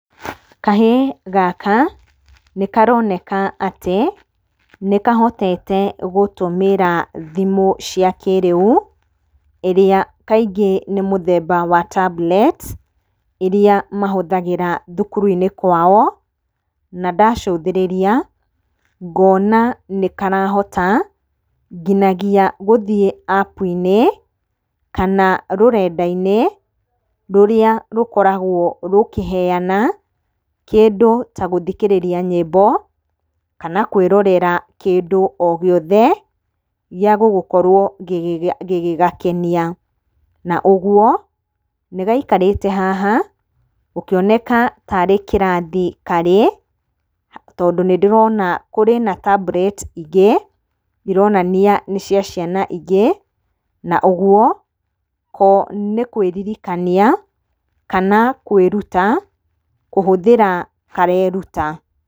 Kahĩĩ gaka nĩkaroneka atĩ nĩkahotete gũtũmĩra thimũ cia kĩrĩu ĩrĩa kaingĩ nĩ mũthemba wa tablet ĩria mahũthagĩra thukuru-inĩ kwao. Na ndacũthĩrĩria ngona nĩkarahota nginagia gũthiĩ App-inĩ kana rũrenda-inĩ rũrĩa rũkoragũo rũkĩheana kĩndũ ta gũthikĩrĩria nyĩmbo kana kũĩrorera kĩndũ o gĩothe gĩagũgũkorwo gĩgĩgakenia. Na ũguo, nĩgaikarĩte haha gũkĩoneka ta arĩ kĩrathi karĩ tondũ nĩndĩrona kũrĩ na tablet ingĩ ironania nĩcia ciana ingĩ. Na ũguo, ko nĩkũĩririkania kana kũĩruta kũhũthĩra kareruta.